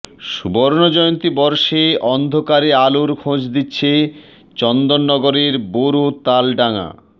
সুবর্ণজয়ন্তী বর্ষে অন্ধকারে আলোর খোঁজ দিচ্ছে চন্দননগরের বোরো তাল ডাঙা